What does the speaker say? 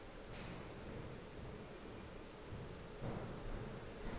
le mang o na le